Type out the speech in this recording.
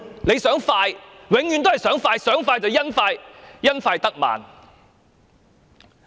他想快，永遠也只是想快，但最終卻因快得慢。